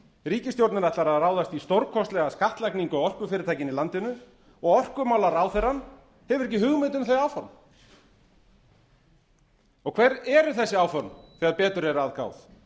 ríkisstjórnin ætlar að ráðast í stórkostlega skattlagningu á orkufyrirtækin í landinu og orkumálaráðherrann hefur ekki hugmynd um þau áform og hver eru þessi áform þegar betur er að gáð